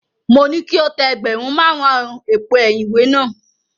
Mo ní kí o tẹ ẹgbẹ̀rún márùn-ún èpo ẹ̀yìn ìwé náà.